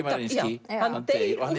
maður deyr